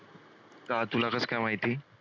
का तुला कसं काय माहिती?